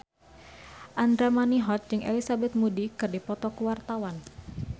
Andra Manihot jeung Elizabeth Moody keur dipoto ku wartawan